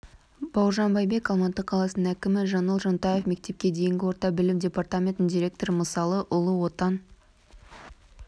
бауыржан байбек алматы қаласының әкімі жаңыл жонтаева мектепке дейінгі орта білім департаментінің директоры мысалы ұлы отан